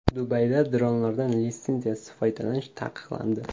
Dubayda dronlardan litsenziyasiz foydalanish taqiqlandi.